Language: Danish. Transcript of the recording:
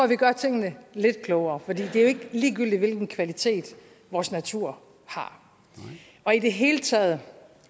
vi gør tingene lidt klogere for det er jo ikke ligegyldigt hvilken kvalitet vores natur har i det hele taget